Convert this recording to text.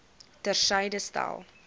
ter syde stel